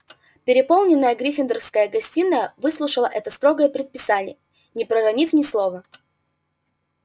переполненная гриффиндорская гостиная выслушала это строгое предписание не проронив ни слова